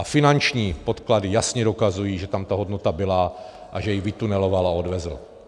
A finanční podklady jasně dokazují, že tam ta hodnota byla a že ji vytuneloval a odvezl.